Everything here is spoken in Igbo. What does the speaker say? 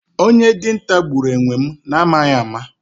Onye dinta gburu enwem na amaghi ama